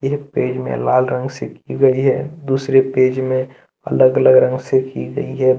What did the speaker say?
एक पेज में लाल रंग से की गई है दूसरे पेज में अलग अलग रंग से की गई है।